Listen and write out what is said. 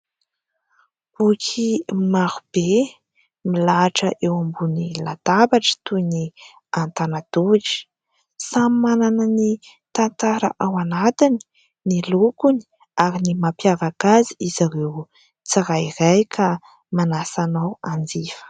Boky maro be : milahatra eo ambony latabatra toy ny an-tanan-tohitra, samy manana ny tantara ao anatiny, ny lokony ary ny mampiavaka azy ireo tsirairay ka manasa anao hanjifa.